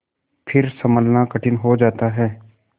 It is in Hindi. फिर सँभलना कठिन हो जाता है